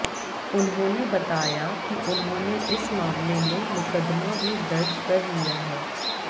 उन्होंने बताया कि उन्होंने इस मामले में मुकद्दमा भी दर्ज कर लिया है